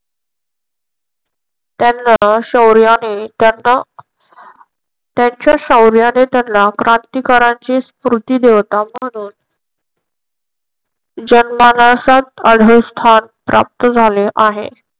त्यांना शौर्याने त्यांना त्यांच्या शौर्याने त्यांना क्रांतीकारांची स्मृती देवता म्हणून जमनासात आढळ स्थान प्राप्त झाले आहे.